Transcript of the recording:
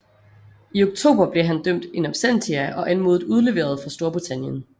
I oktober blev han dømt in absentia og anmodet udleveret fra Storbritannien